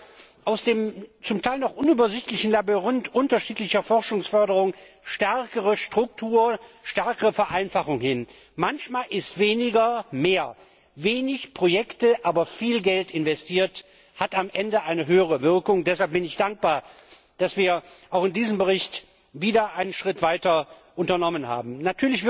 Wie kriegen wir aus dem zum Teil noch unübersichtlichen Labyrinth unterschiedlicher Forschungsförderung stärkere Struktur, stärkere Vereinfachung hin? Manchmal ist weniger mehr! Wenig Projekte aber viel Geld investiert hat am Ende eine höhere Wirkung. Deshalb bin ich dankbar, dass wir auch in diesem Bericht wieder einen Schritt weiter gekommen sind.